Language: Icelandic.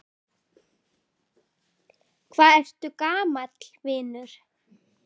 Hvað ertu gamall, vinur?